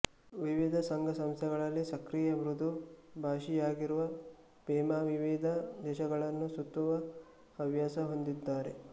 ವಿವಿಧ ಸಂಘಸಂಸ್ಥೆಗಳಲ್ಲಿ ಸಕ್ರಿಯ ಮೃದು ಭಾಷಿಯಾಗಿರುವ ಪೆಮಾ ವಿವಿಧ ದೇಶಗಳನ್ನು ಸುತ್ತುವ ಹವ್ಯಾಸ ಹೊಂದಿದ್ದಾರೆ